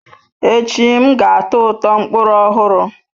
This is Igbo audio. Echi, m ga-atọ ụtọ mkpụrụ ọhụrụ.